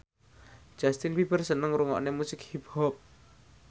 Justin Beiber seneng ngrungokne musik hip hop